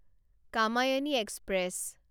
Kamayani express